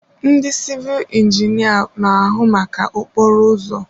Ndị sịvịl injinia na-ahụ maka okporo ụzọ.